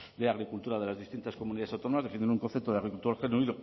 de agricultura de las distintas comunidades autónomas defienden un concepto de agricultor genuino